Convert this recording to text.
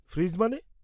-Fridge মানে?